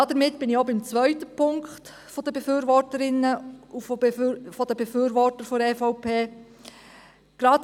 Damit bin ich auch beim zweiten Punkt der Befürworterinnen und Befürworter seitens der EVP angelangt.